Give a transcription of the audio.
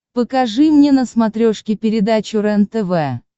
покажи мне на смотрешке передачу рентв